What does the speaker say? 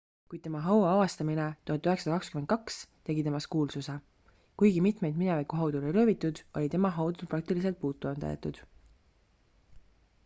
kuid tema haua avastamine 1922 tegi temast kuulsuse kuigi mitmeid mineviku haudu oli röövitud oli tema haud praktiliselt puutumata jäetud